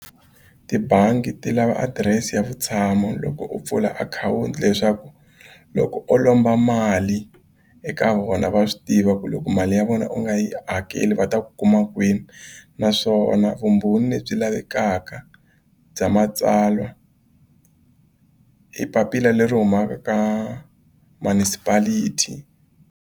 Yibangi ti lava adirese ya vutshamo loko u pfula akhawunti leswaku loko o lomba mali eka vona va swi tiva ku loko mali ya vona u nga yi hakeli va ta ku kuma kwini naswona vumbhoni lebyi lavekaka bya matsalwa i papila leri humaka ka manucipality.